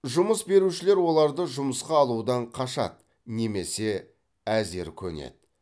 жұмыс берушілер оларды жұмысқа алудан қашады немесе әзер көнеді